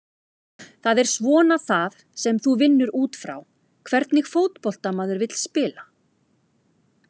Það er svona það sem þú vinnur útfrá, hvernig fótbolta maður vill spila?